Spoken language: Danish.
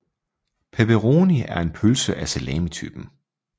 Pepperoni er en pølse af salamitypen